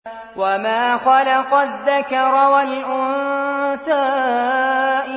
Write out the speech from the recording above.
وَمَا خَلَقَ الذَّكَرَ وَالْأُنثَىٰ